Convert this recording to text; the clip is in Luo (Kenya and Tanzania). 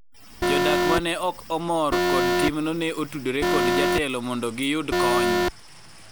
jodak mane ok omor kod timno ne otudore kod jotelo mondo giyud kony